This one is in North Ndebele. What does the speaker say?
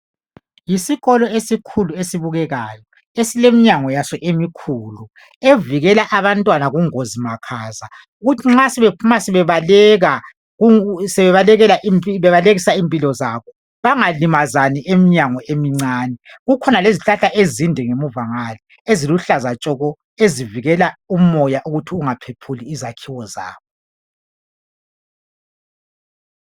Yisikolo esikhulu esibukekayo, esileminyango yaso emikhulu evikela abantwana kungozi makhaza, ukuthi nxa sebephuma bebaleka, bebalekisa impilo zabo bangalimazani emnyango emincane. Kukhona lezihlahla ezinde emuva ngale eziluhlaza tshoko ezivikela umoya ukuthi ungaphephuli izakhiwo zabo.